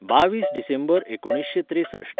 बावीस डिसेंबर एकुणीसशें त्रेसश्ठ